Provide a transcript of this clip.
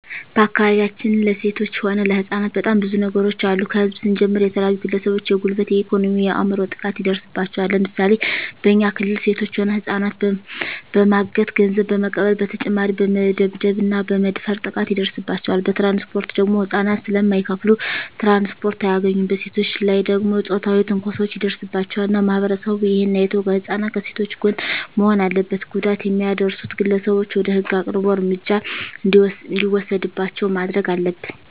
በአካባቢያችን ለሴቶች ሆነ ለህጻናት በጣም ብዙ ነገሮች አሉ ከህዝብ ስንጀምር የተለያዩ ግለሰቦች የጉልበት የኤኮኖሚ የአይምሮ ጥቃት ይደርስባቸዋል ለምሳሌ በኛ ክልል ሴቶች ሆነ ህጻናትን በማገት ገንዘብ በመቀበል በተጨማሪ በመደብደብ እና በመድፈር ጥቃት ይደርስባቸዋል በትራንስፖርት ደግሞ ህጻናት ስለማይከፋሉ ትራንስፖርት አያገኙም በሴቶች ላይ ደግሞ ጾታዊ ትንኮሳዎች ይደርስባቸዋል እና ማህበረሰቡ እሄን አይቶ ከህጻናት ከሴቶች ጎን መሆን አለበት ጉዳት የሚያደርሱት ግለሰቦች ወደ ህግ አቅርቦ እርምጃ እንዲወሰድባቸው ማረግ አለብን